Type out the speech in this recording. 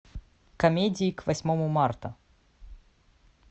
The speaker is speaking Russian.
комедии к восьмому марта